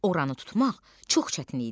Oranı tutmaq çox çətin idi.